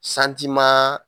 Santimaa